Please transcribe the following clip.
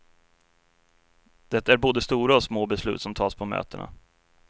Det är både stora och små beslut som tas på mötena.